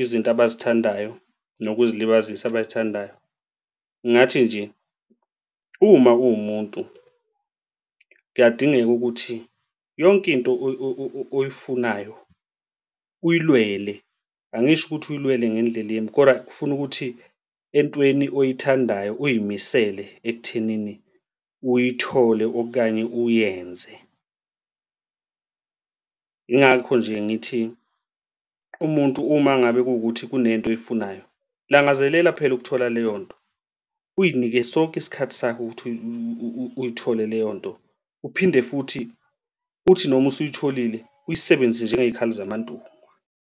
izinto abay'thandayo nokuzilibazisa abazithandayo. Ngathi nje uma uwumuntu kuyadingeka ukuthi yonke into oyifunayo uyilwele, angisho ukuthi uyilwele ngendlela embi kodwa kufuna ukuthi entweni oyithandayo uy'misele ekuthenini uyithole okanye uyenze. Yingakho nje ngithi umuntu uma ngabe kuwukuthi kunento oyifunayo langazelela phela phela ukuthola leyo nto uy'nike sonke isikhathi sakho ukuthi uyithole leyo nto. Uphinde futhi uthi noma usuyitholile uyisebenzise njengey'khali zaMantungwa.